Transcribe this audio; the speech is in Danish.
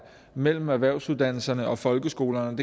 mellem erhvervsuddannelserne og folkeskolerne